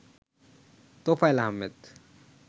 Tofail Ahmed